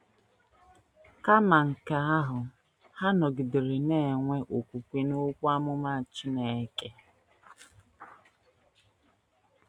Kama nke ahụ, ha nọgidere na - enwe okwukwe n’okwu amụma Chineke.